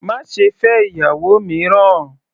Má ṣe fẹ́ ìyàwó mìíràn!